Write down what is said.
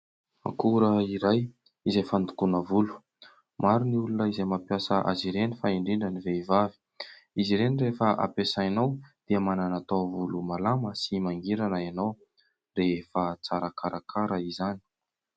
Akora iray izay fandokoana volo. Maro ny olona izay mampiasa azy ireny fa indrindra ny vehivavy. Izy ireny rehefa ampiasainao dia manana taovolo malama sy mangirana enao rehefa tsara karakara izany.